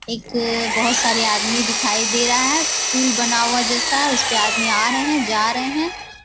एक बहुत सारे आदमी दिखाई दे रहा है। पूल बना हुआ है जैसा उसपे आदमी आ रहें हैं जा रहे हैं।